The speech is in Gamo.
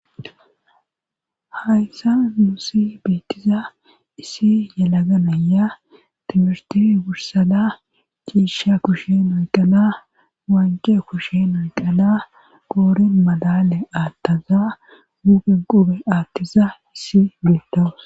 hayssa nuussi beettiza issi yalaga naya Trimurte wursada ciisha kushen oy qala waancee kushen oy qala goorin madale aattaza guuge qube aattiza issi beettawus